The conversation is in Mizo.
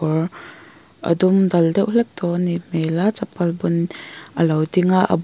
kawr a dum dal deuh hlek tawh anih hmel a chapal bun a lo ding a--